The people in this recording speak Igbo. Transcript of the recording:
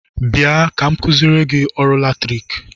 Bịa ka m kụziere gị ọrụ latriki!